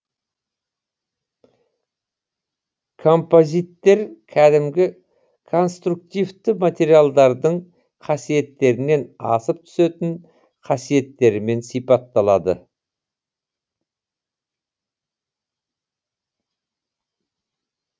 композиттер кәдімгі конструктивті материалдардың қасиеттерінен асып түсетін қасиеттерімен сипатталады